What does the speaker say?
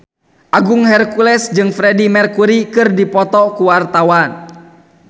Agung Hercules jeung Freedie Mercury keur dipoto ku wartawan